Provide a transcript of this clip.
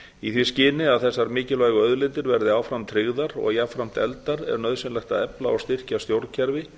í því skyni að þessar mikilvægu auðlindir verði áfram tryggðar og jafnframt efldar er nauðsynlegt að efla og styrkja stjórnkerfi